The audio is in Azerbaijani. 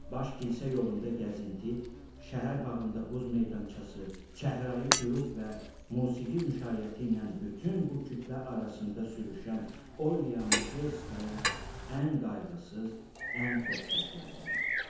Baş kilsə yolunda gəzinti, şəhər bağında buz meydançası, çəhrayı qürub və musiqi müşayiəti ilə bütün bu kütlə arasında sürüşən Olya Meşerskaya ən qayğısız, ən xoşbəxtlərdəndir.